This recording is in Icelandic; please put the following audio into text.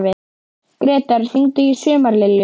Gretar, hringdu í Sumarlilju.